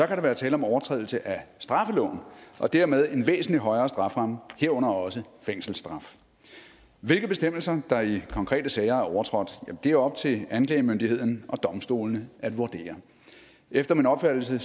der være tale om overtrædelse af straffeloven og dermed en væsentlig højere strafferamme herunder også fængselsstraf hvilke bestemmelser der i konkrete sager er overtrådt er op til anklagemyndigheden og domstolene at vurdere efter min opfattelse